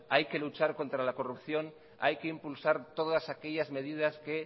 hay que luchar contra la corrupción hay que impulsar todas aquellas medidas que